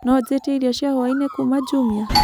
No njĩĩtĩe ĩrĩo cĩa hwaĩnĩ kũũma jumia